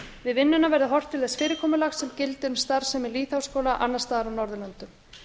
við vinnuna verði horft til þess fyrirkomulags sem gildir um starfsemi lýðháskóla annars staðar á norðurlöndum